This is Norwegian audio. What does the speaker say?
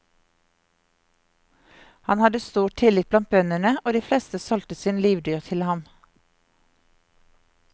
Han hadde stor tillit blant bøndene, og de fleste solgte sin livdyr til ham.